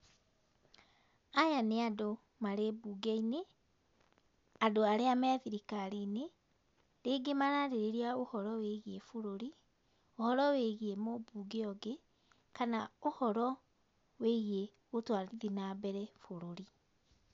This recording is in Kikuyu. Aya nĩ andũ marĩ bunge-inĩ, andũ arĩa me thirikari-inĩ, rĩngĩ maraarĩrĩria ũhoro wĩgiĩ bũrũri, ũhoro wĩgiĩ mũmbunge ũngĩ, kana ũhoro wĩgiĩ gũtwarithia na mbere bũrũri.